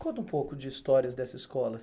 Conta um pouco de histórias dessa escola.